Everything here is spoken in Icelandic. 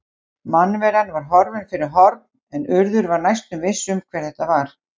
Mannveran var horfin fyrir horn en Urður var næstum viss um hver þetta var.